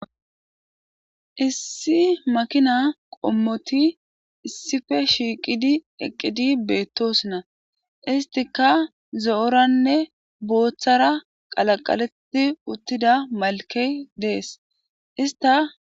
Issi makina qommoti issife shiiqidi eqqidi beettosona istika zo7oranne booththara qalaqaletti uttida malkey dees ista.